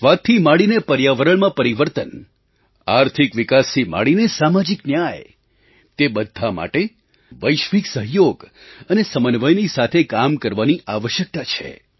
ત્રાસવાદથી માંડીને ર્યાવરણમાં પરિવર્તન આર્થિક વિકાસથી માંડીને સામાજિક ન્યાય તે બધા માટે વૈશ્વિક સહયોગ અને સમન્વયની સાથે કામ કરવાની આવશ્યકતા છે